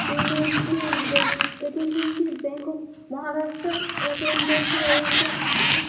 এখানে একটি bank. ATM. Bank টি ব্যাঙ্ক অফ মহারাষ্ট্র র। এ. টি. এম ব্যাঙ্ক রয়েছে এখানে--